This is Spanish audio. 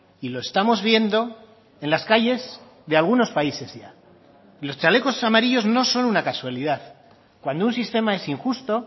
y lo estamos viendo en las calles de algunos países ya los chalecos amarillos no son una casualidad cuando un sistema es injusto